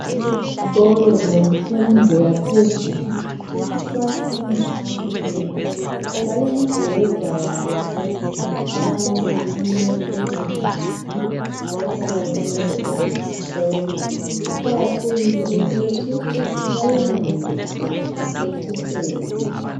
Ezikolo zemfundo yaphezulu abafundi abanengi balembheda yabo abalala kiyo ezindlini abahlala kuzo ezesikolo kuqakathekile ukuthi bayilungise iceciseke